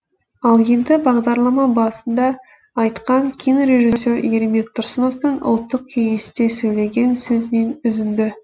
ал енді бағдарлама басында айтқан кинорежиссер ермек тұрсыновтың ұлттық кеңесте сөйлеген сөзінен үзінді